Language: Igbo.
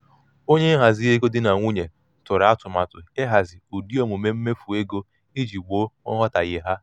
onye nhazi ego um di na nwunye tụrụ atụmatụ ihazi ụdị omume mmefu ego iji gboo nghọtahie ha.